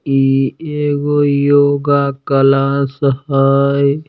इ एगो योगा क्लास हय।